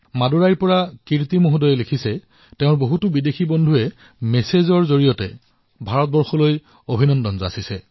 মাডুৰাইৰ পৰা কীৰ্তিজীয়ে লিখিছে যে তেওঁৰ বহু বিদেশী বন্ধুৱে ভাৰতলৈ ধন্যবাদ জ্ঞাপন কৰি তেওঁলৈ বাৰ্তা প্ৰেৰণ কৰিছে